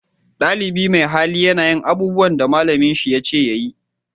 Dalibi mai hali na yin abubuwan da malamin shi ya ce ya yi